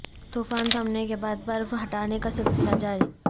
طوفان تھمنے کے بعد برف ہٹانے کا سلسلہ جاری